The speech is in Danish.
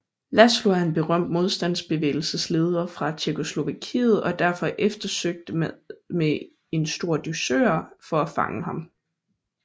Laszlo er en berømt modstandsbevægelsesleder fra Tjekkoslovakiet og derfor eftersøgt med en stor dusør for at fange ham